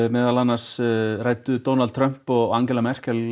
meðal annars ræddu Donald Trump og Angela Merkel